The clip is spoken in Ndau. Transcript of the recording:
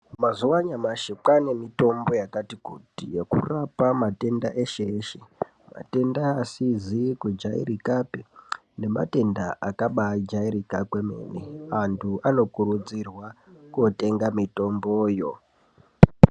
Mazuwa anyamashi kwane mitombo yakati kuti yekurapa matenda eshe-eshe. Matenda asizi kujairikapi nematenda akabajairika kwemene . Antu anokurudzirwa kotenga mitomboyo.